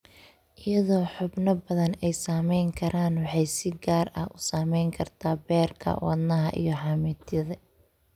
Iyadoo xubno badan ay saameyn karaan, waxay si gaar ah u saameyn kartaa beerka, wadnaha, iyo xameetida.